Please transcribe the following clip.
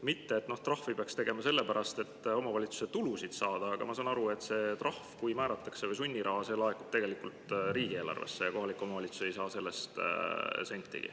Mitte et trahvi peaks tegema sellepärast, et omavalitsusele tulu saada, aga ma saan aru, et kui see trahv või sunniraha määratakse, siis see laekub riigieelarvesse ja kohalik omavalitsus ei saa sellest sentigi.